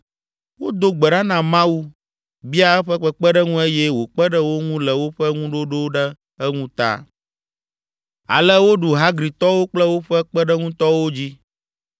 Wodo gbe ɖa na Mawu, bia eƒe kpekpeɖeŋu eye wòkpe ɖe wo ŋu le woƒe ŋuɖoɖo ɖe eŋu ta. Ale woɖu Hagritɔwo kple woƒe kpeɖeŋutɔwo dzi.